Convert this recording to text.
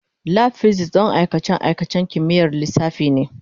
Lab Physics don aikace-aikacen kimiyyar lissafi ne.